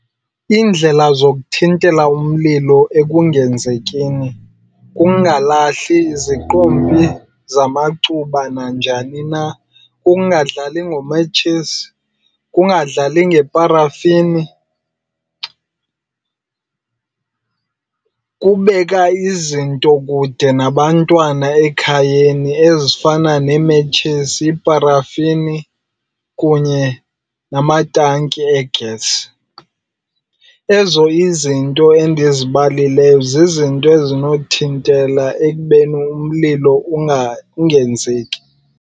Iindlela zokuthintela umlilo ekungenzekini kukungalahli iziqompi zamacuba nanjani na, kukungadlali ngometshisi, kubadlali ngeparafini. Kubeka izinto kude nabantwana ekhayeni ezifana neemetshisi, iparafini kunye namatanki egesi. Ezo izinto endizibalileyo zizinto ezinothintela ekubeni umlilo ungenzeki.